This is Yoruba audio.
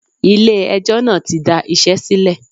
Ilé ẹjọ́ náà tí da iṣẹ́ sílẹ̀.